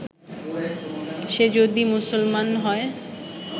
সে যদি মুসলমান হয়